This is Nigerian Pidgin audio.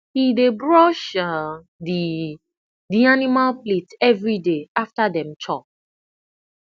he dey brush um the the animal plate everyday after dem chop